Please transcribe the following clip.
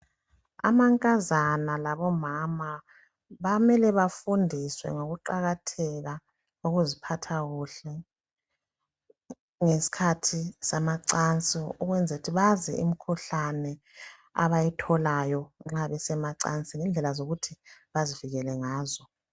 Amankazana labo mama bamele bafundiswe ngokukuqakatheka kokuziphatha kuhle ukwenzela ukuthi bazi imikhuhlane abayitholayo nxa bese macansini lendlela zokuthi bazivikele ngazo